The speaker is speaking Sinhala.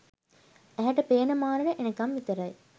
ඇහැට පේන මානෙට එනකම් විතරයි.